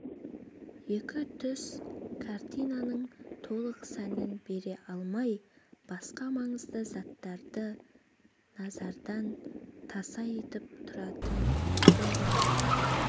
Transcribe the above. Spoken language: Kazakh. екі түс картинанын толық сәнін бере алмай басқа маңызды заттарды назардан таса етіп тұратын болған